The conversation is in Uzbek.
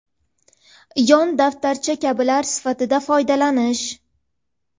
yon daftarcha kabilar sifatida foydalanish;.